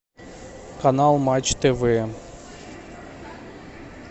канал матч тв